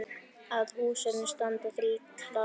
Að húsinu standa þrír klasar.